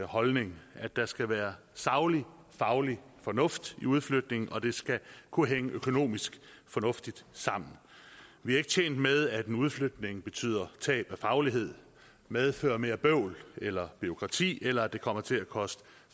holdning at der skal være saglig og faglig fornuft i udflytningen og det skal kunne hænge økonomisk fornuftigt sammen vi er ikke tjent med at en udflytning betyder tab af faglighed og medfører mere bøvl eller bureaukrati eller at det kommer til at koste